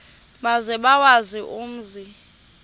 maze bawazi umzi